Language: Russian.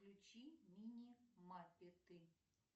включи мини мапеты